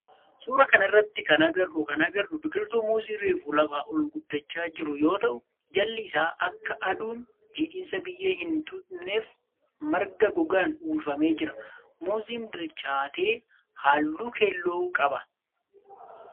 Suuraa kana irratti kan agarru kan agarru biqiltuu muuzii reefu lafa ol guddachaa jiru yoo ta'u jalli isaa akka aduun jidhiinsa biyyee hin xuuxneef marga gogaan uwwifamee jira. Muuziin bilchaate halluu keelloo qaba